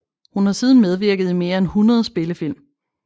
Hun har siden medvirket i mere end hundrede spillefilm